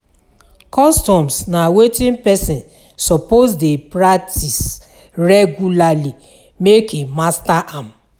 customs na wetin persin suppose de practice regulary make e master am